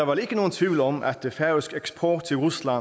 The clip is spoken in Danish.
vel ikke nogen tvivl om at færøsk eksport til rusland